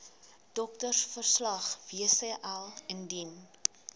doktersverslag wcl indien